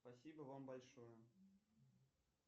спасибо вам большое